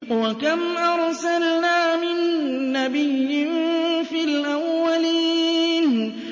وَكَمْ أَرْسَلْنَا مِن نَّبِيٍّ فِي الْأَوَّلِينَ